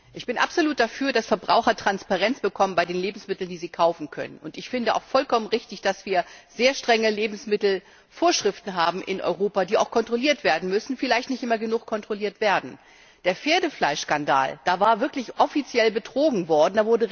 Ich bin absolut dafür, dass Verbraucher bei den Lebensmitteln, die sie kaufen können Transparenz bekommen. Ich finde es auch vollkommen richtig, dass wir sehr strenge Lebensmittelvorschriften in Europa haben, die auch kontrolliert werden müssen vielleicht nicht immer genug kontrolliert werden. Der Pferdefleischskandal, da war wirklich offiziell betrogen worden.